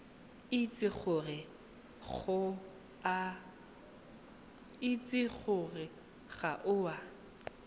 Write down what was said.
itse gore ga o a